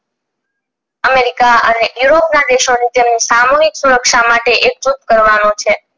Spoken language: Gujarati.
america અને europe ના દેશો ની જેની સામુહિક સુરક્ષા માટે એકજૂથ કરવાનું છે